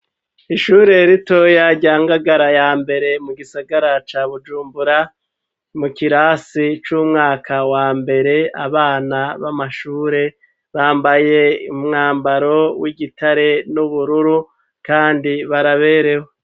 Ishure ritoya, rya Ngagara ya mbere, mu gisagara ca Bujumbura, mu kirasi c'umwaka wa mbere, abana b'amashure, bambaye umwambaro w'igitare, n'ubururu, kandi baraberewe.